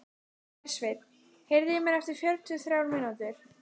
Hersveinn, heyrðu í mér eftir fjörutíu og þrjár mínútur.